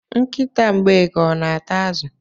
Nkịta Mgbeke ọ na-ata azụ?